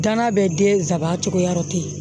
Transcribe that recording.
Gana bɛ den saban cogoya tɛ yen